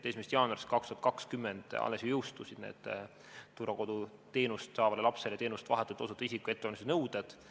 1. jaanuarist 2020 alles ju jõustusid need turvakoduteenust saavale lapsele teenust vahetult osutava isiku ettevalmistuse nõuded.